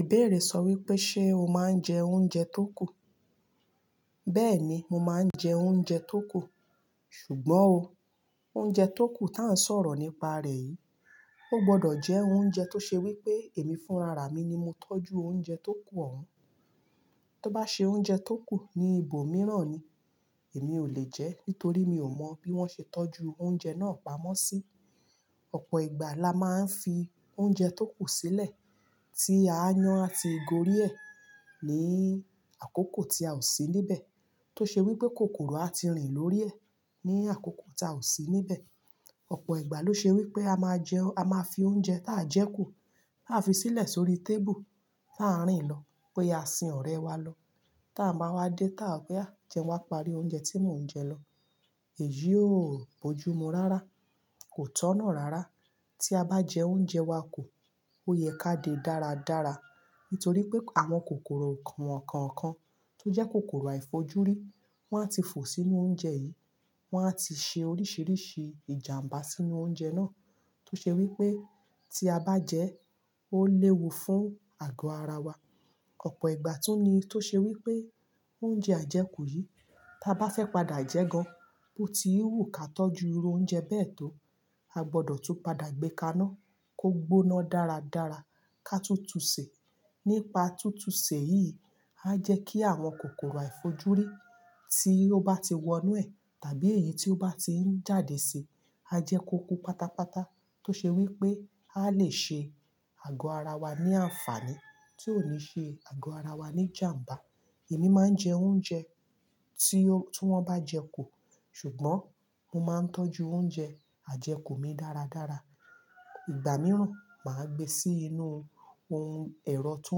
Ìbéèrè sọ wípé ṣe o máa ń jẹ oúnjẹ tó kù? Bẹ́ẹ̀ni, mo máa ń jẹ oúnjẹ tó kù. Ṣùgbọ́n o, oúnjẹ tó kù tí à ń sọ̀rọ̀ nípa rẹ̀ yìí, ó gbọdọ̀ jẹ́ oúnjẹ tó ṣe wípé èmi fún ara mi ni mo tọ́jú oúnjẹ tó kù ọ̀hún. Tó bá ṣe oúnjẹ tó kù ní ibòmíràn ni, èmi ò lè jẹ ẹ́, nítorí mi ò mọ bí wón ṣe tọ́jú oúnjẹ náà pamọ́ sí. Ọ̀pọ̀ ìgbà la máa ń fi oúnjẹ tó kù sílẹ̀ tí a yan àti gori ẹ́ ní àkókò tí a ò sí níbẹ̀ tó ṣe wípé kòkòrò a ti rìn lórí ẹ̀ ní àkókò tí a ò sí níbẹ̀. Ọ̀pọ̀ ìgbà ló ṣe wípé a máa jẹ, a máa fi oúnjẹ táa jẹ kù láfi sílẹ̀ sórí tábùù ta rín lọ pé a sin ọ̀rẹ́ wa lọ. Tàa máa wá dé táa pé "àá jẹ wá parí oúnjẹ tí mò ń jẹ lọ." Èyí ó bojumu rárá, kò tọ̀nà rárá. Tí a bá jẹ oúnjẹ wa kù ó yẹ ká dé dáradára nítorí pé àwọn kòkòrò won kàn kàn kan tó jẹ́ kòkòrò àìfojúrí wọ́n á ti fò sínú oúnjẹ yìí, wọ́n á ti ṣe oríṣìíríṣìí ìjàmbá sínú oúnjẹ náà tó ṣe wípé tí a bá jẹ ẹ́ ó léwu fún àgọ́ ara wa. Ọ̀pọ̀ ìgbà tún ní tó ṣe wípé oúnjẹ àjẹkù yìí tí a bá fẹ́ padà jẹ ẹ́ gan-an bó ti wù kà tọ́jú irú oúnjẹ bẹ́ẹ̀ tó, a gbọdọ̀ tún padà gbé kaná kó gbóná dáradára ká tutù ṣè. Nípa túntùn ṣè yìí, a jẹ́ kí àwọn kòkòrò àìfojúrí tí ó bá ti wọ inú ẹ̀ tàbí èyí tí ó bá ti ń jáde síi, á jẹ́ ko kú pátápátá tó ṣe wípé a lè ṣe àgọ́ ara wa ní àǹfààní tí ò ní ṣe àgọ́ ara wa ní ìjàmbá. Èmi máa ń jẹ oúnjẹ tí ó, tí wọ́n bá jẹ kù, ṣùgbọ́n mo máa ń tọ́jú oúnjẹ àjẹkù mi dáradára. Ìgbà mìíràn, màá gbé sí inú ohun ẹ̀rọ tó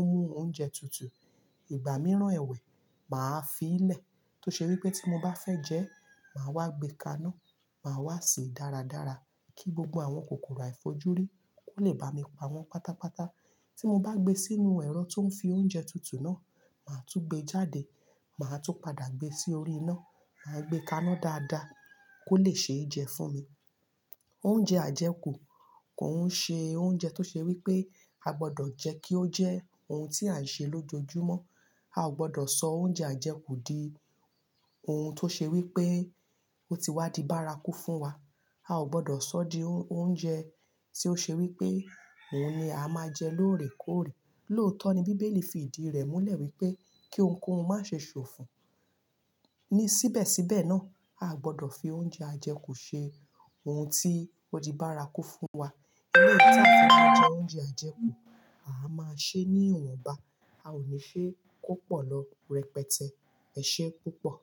ń mú oúnjẹ tutù. Ìgbà mìíràn ẹ̀wẹ̀, màá fi í lẹ̀ tó ṣe wípé tí mo bá fẹ́ jẹ ẹ́, màá wá gbé kaná, màá wá sèé dáradára kí gbogbo àwọn kòkòrò àìfojúrí kò lè bá mi páwọn pátápátá. Tí mo bá gbé sínú ẹ̀rọ tó ń fi oúnjẹ tutù náà, màá túún gbé e jáde, màá tún padà gbé sí orí iná. Màá gbé kaná dáadaa kó lè ṣe é jẹ fún mi. Oúnjẹ àjẹkù kò ń ṣe oúnjẹ tó ṣe wípé a gbọdọ̀ jẹ́ kí ó jẹ́ ohun tí à ń ṣe lójoojúmọ́. A ò gbọdọ̀ sọ oúnjẹ àjẹkù di ohun tó ṣe wípé ó ti wá di bárakú fún wa. A ò gbọdọ̀ sọ ọ́ di oúnjẹ tí ó ṣe wípé òun ni à máa jẹ lóòrèkóòrè. Lóòótọ́ ni bíbélì fi ìdí rẹ̀ múlẹ̀ wípé kí ohunkóhun má ṣe sòfo. Ni síbẹ̀síbẹ̀ náà, a gbọdọ̀ fi oúnjẹ àjẹkù ṣe ohun tí ó di bárakú fún wa. Eleyii tí a o fi máa jẹ oúnjẹ àjẹkù, a máa ṣe é ní ìwọ̀nba. A ò ní ṣe é kó pọ̀ lọ rẹpẹtẹ. Ẹ ṣé púpọ̀.